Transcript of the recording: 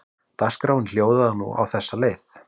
Dagskráin hljóðaði nú á þessa leið